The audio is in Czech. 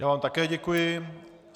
Já vám také děkuji.